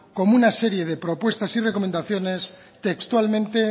como una serie de propuestas y recomendaciones textualmente